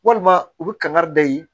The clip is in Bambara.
Walima u bɛ kangari da ye